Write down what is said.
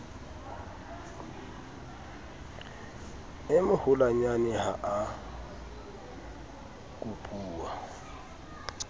e moholwanyane ha a kopuwa